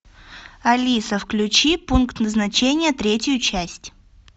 алиса включи пункт назначения третью часть